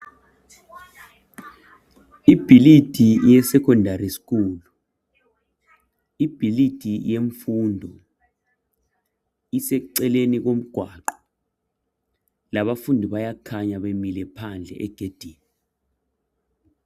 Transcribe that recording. Ibhilidi yeSecondary School, ibhilidi yemfundo iseceleni komgwaqo labafundi bayakhanya bemile phandle egedini.